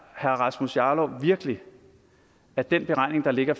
herre rasmus jarlov virkelig at den beregning der ligger